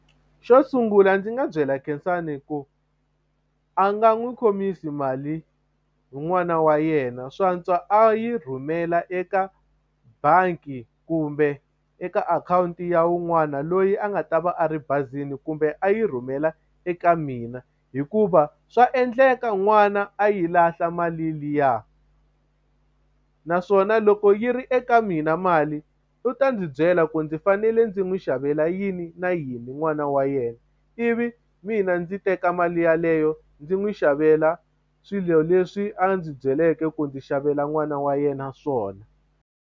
Xo sungula ndzi nga byela Khensani ku a nga n'wi khomisa mali n'wana wa yena swantswa a yi rhumela eka bangi kumbe eka akhawunti ya wun'wana loyi a nga ta va a ri bazini kumbe a yi rhumela eka mina hikuva swa endleka n'wana a yi lahla mali liya naswona loko yi ri eka mina mali u ta ndzi byela ku ndzi fanele ndzi n'wi xavela yini yini na yini n'wana wa yena ivi mina ndzi teka mali yeleyo ndzi n'wi xavela swilo leswi a ndzi byeleke ku ndzi xavela n'wana wa yena swona.